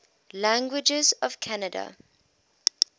languages of canada